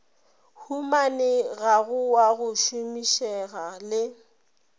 humanegago wa go šomišega le